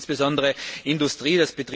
Das betrifft insbesondere die Industrie.